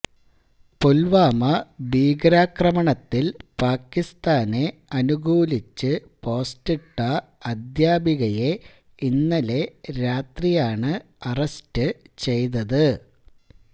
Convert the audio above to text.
പുൽവാമ ഭീകരാക്രമണത്തിൽ പാക്കിസ്ഥാനെ അനുകൂലിച്ച് പോസ്റ്റിട്ട അദ്ധ്യാപികയെ ഇന്നലെ രാത്രിയാണ് അറസ്റ്റ് ചെയ്തത്